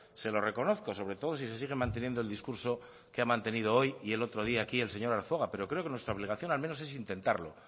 se lo reconozco sobre todo si se sigue manteniendo el discurso que ha mantenido hoy y el otro día aquí el señor arzuaga pero creo que nuestra obligación al menos es intentarlo